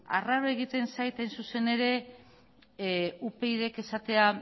dela arraroa egiten zait hain zuzen ere upydk esatea